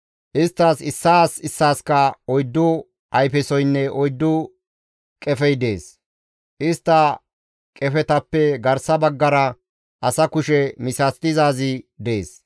Isttas issaas issaaskka oyddu ayfesoynne oyddu qefey dees; istta qefetappe garsa baggara asa kushe misatizaazi dees.